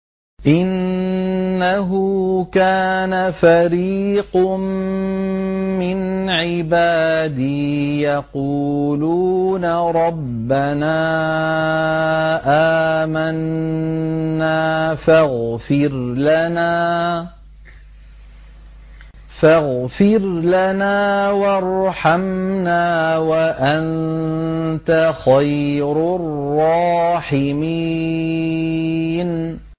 إِنَّهُ كَانَ فَرِيقٌ مِّنْ عِبَادِي يَقُولُونَ رَبَّنَا آمَنَّا فَاغْفِرْ لَنَا وَارْحَمْنَا وَأَنتَ خَيْرُ الرَّاحِمِينَ